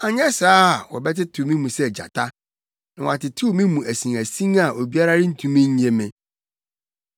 anyɛ saa a wɔbɛtetew me mu sɛ gyata na wɔatetew me mu asinasin a obiara rentumi nnye me.